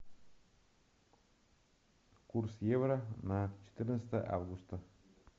курс евро на четырнадцатое августа